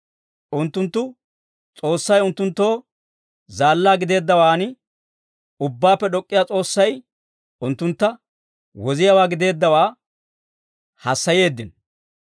Unttunttu S'oossay unttunttoo zaallaa gideeddawaanne Ubbaappe D'ok'k'iyaa S'oossay, unttuntta woziyaawaa gideeddawaa hassayeeddino.